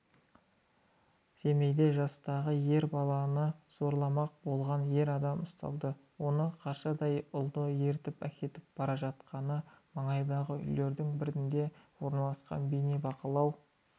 семейде жастағы ер баланы зорламақ болған ер адам ұсталды оның қаршадай ұлды ертіп әкетіп бара жатқаны маңайдағы үйлердің бірінде орналасқан бейнебақылау